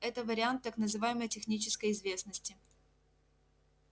это вариант так называемой технической известности